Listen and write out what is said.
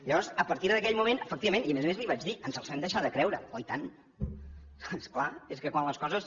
llavors a partir d’aquell moment efectivament i a més a més li ho vaig dir ens els vam deixar de creure oi tant és clar és que quan les coses